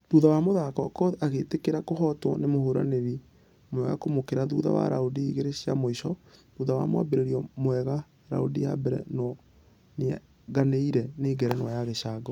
Thutha wa mũthako okoth agĩĩtĩkĩra kũhotwo nĩ mũhũrani mwega kũmũkĩra thutha wa ....raundi igĩrĩ cia mũisho thutha wa mwambĩrĩrio mwega raundi ya mbere nũ nĩaiganĩre nĩ ngerenwa ya gĩcango.